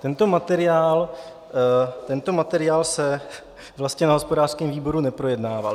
Tento materiál se vlastně na hospodářském výboru neprojednával.